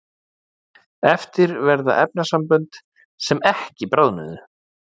eftir verða efnasambönd sem ekki bráðnuðu